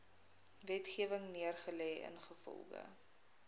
wetgewing neergelê ingevolge